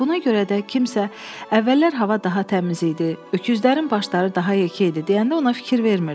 Buna görə də kimsə əvvəllər hava daha təmiz idi, öküzlərin başları daha yekə idi deyəndə ona fikir vermirdi.